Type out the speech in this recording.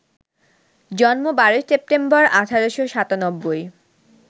জন্ম ১২ সেপ্টেম্বর, ১৮৯৭